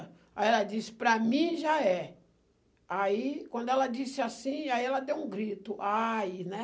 Aí ela disse, para mim já é. Aí, quando ela disse assim, aí ela deu um grito, ai, né?